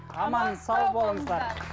аман сау болыңыздар